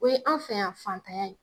O ye an' fɛ yan fantanya ye.